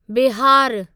बिहारु